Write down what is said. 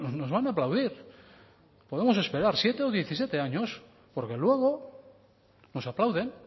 nos van a aplaudir podemos esperar siete o diecisiete años porque luego nos aplauden